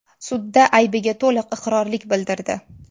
sudda aybiga to‘liq iqrorlik bildirdi.